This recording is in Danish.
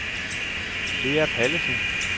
Lea Pallesen